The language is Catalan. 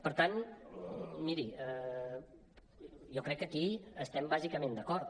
per tant miri jo crec que aquí hi estem bàsicament d’acord